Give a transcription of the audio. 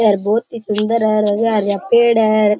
ये बहुत ही सुन्दर है और हरा हरा पेड़ है।